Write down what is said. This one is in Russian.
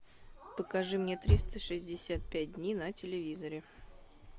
покажи мне триста шестьдесят пять дней на телевизоре